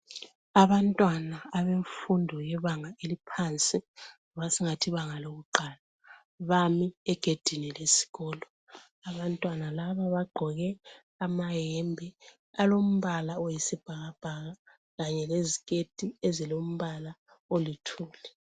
Abantwana abemfundo yebanga eliphansi loba singathi ibanga lokuqala, bame egedini lesikolo. Abantwana laba bagqoke amahembe alombala oyisibhakabhaka kanye leziketi ezilombala olithuli.